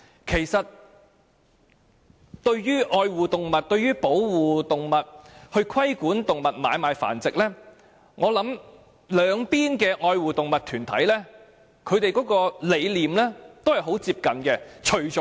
其實，對於愛護動物、保護動物及規管動物買賣繁殖，我相信愛護動物團體的理念很接近。